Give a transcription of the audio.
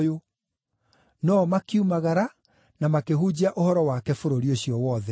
No-o makiumagara na makĩhunjia ũhoro wake bũrũri ũcio wothe.